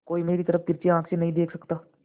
कोई मेरी तरफ तिरछी आँख से नहीं देख सकता